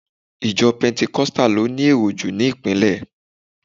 Ìjo pentecostal lo ni èrò jù ni ìpínlè